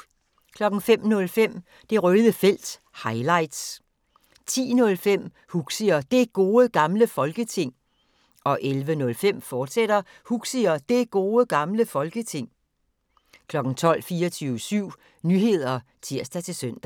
05:05: Det Røde Felt – highlights 10:05: Huxi og Det Gode Gamle Folketing 11:05: Huxi og Det Gode Gamle Folketing, fortsat 12:00: 24syv Nyheder (tir-søn)